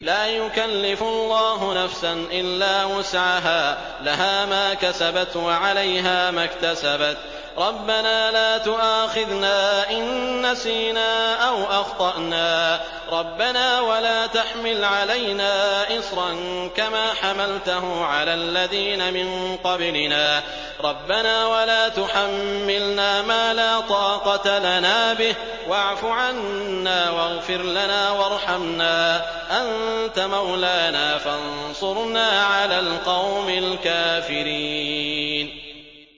لَا يُكَلِّفُ اللَّهُ نَفْسًا إِلَّا وُسْعَهَا ۚ لَهَا مَا كَسَبَتْ وَعَلَيْهَا مَا اكْتَسَبَتْ ۗ رَبَّنَا لَا تُؤَاخِذْنَا إِن نَّسِينَا أَوْ أَخْطَأْنَا ۚ رَبَّنَا وَلَا تَحْمِلْ عَلَيْنَا إِصْرًا كَمَا حَمَلْتَهُ عَلَى الَّذِينَ مِن قَبْلِنَا ۚ رَبَّنَا وَلَا تُحَمِّلْنَا مَا لَا طَاقَةَ لَنَا بِهِ ۖ وَاعْفُ عَنَّا وَاغْفِرْ لَنَا وَارْحَمْنَا ۚ أَنتَ مَوْلَانَا فَانصُرْنَا عَلَى الْقَوْمِ الْكَافِرِينَ